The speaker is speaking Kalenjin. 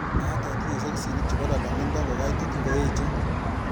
Magaat atinye soksinik chebo lolongindo ngokaitit ngoeche